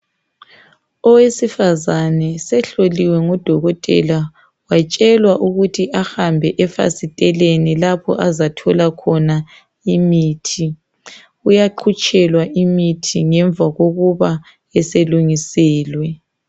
Owesifazana usehloliwe ngudokotela watshelwa ukuthi ahambe eFasiteleni lapho azathola khona imithi. Uyaqhutshelwa imithi ngemva kokuba eselungiselwe.